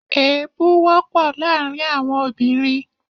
Èébú wọ́pọ̀ láàrin àwọn obìnrin